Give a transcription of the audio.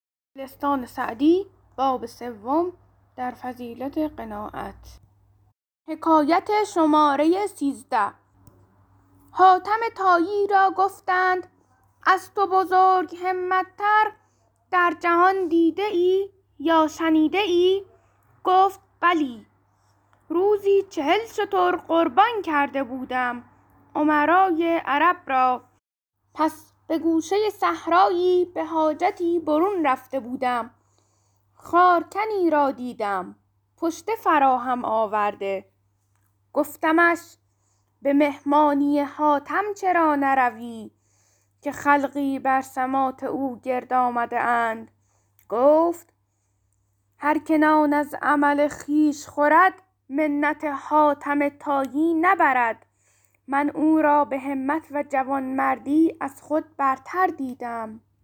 حاتم طایی را گفتند از تو بزرگ همت تر در جهان دیده ای یا شنیده ای گفت بلی روزی چهل شتر قربان کرده بودم امرای عرب را پس به گوشه صحرایی به حاجتی برون رفته بودم خارکنی را دیدم پشته فراهم آورده گفتمش به مهمانی حاتم چرا نروی که خلقی بر سماط او گرد آمده اند گفت هر که نان از عمل خویش خورد منت حاتم طایی نبرد من او را به همت و جوانمردی از خود برتر دیدم